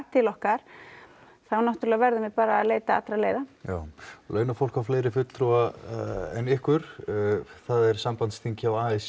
til okkar þá náttúrulega verðum við að leita allra leiða en launafólk á fleiri fulltrúa en ykkur það er sambandsþing a s